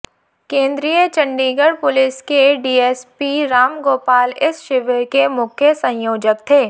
केन्द्रीय चंडीगढ़ पुलिस के डीएसपी राम गोपाल इस शिविर के मुख्य संयोजक थे